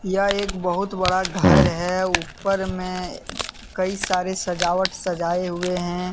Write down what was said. यह एक बहुत बड़ा घर है ऊपर में कई सारे सजावट सजाए हुए हैं।